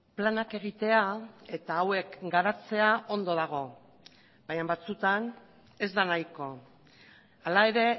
planak egitea eta hauek garatzea ondo dago baina batzutan ez da nahiko hala ere